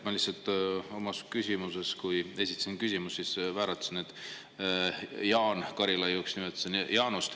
Ma lihtsalt vääratasin, kui esitasin küsimuse, nimetasin Jaanust Jaan Karilaiuks.